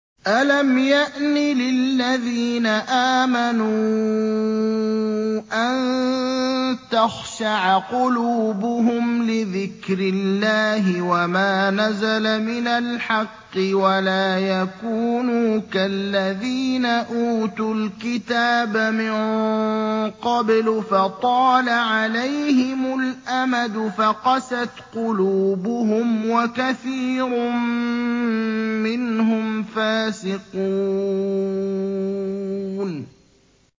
۞ أَلَمْ يَأْنِ لِلَّذِينَ آمَنُوا أَن تَخْشَعَ قُلُوبُهُمْ لِذِكْرِ اللَّهِ وَمَا نَزَلَ مِنَ الْحَقِّ وَلَا يَكُونُوا كَالَّذِينَ أُوتُوا الْكِتَابَ مِن قَبْلُ فَطَالَ عَلَيْهِمُ الْأَمَدُ فَقَسَتْ قُلُوبُهُمْ ۖ وَكَثِيرٌ مِّنْهُمْ فَاسِقُونَ